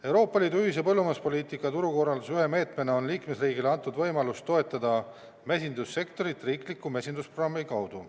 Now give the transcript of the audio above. Euroopa Liidu ühise põllumajanduspoliitika turukorralduse ühe meetmena on liikmesriigile antud võimalus toetada mesindussektorit riikliku mesindusprogrammi kaudu.